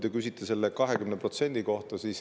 Te küsite selle 20% kohta.